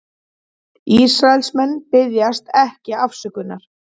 Ísraelsmenn biðjast ekki afsökunar